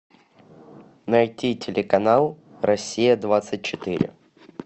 найти телеканал россия двадцать четыре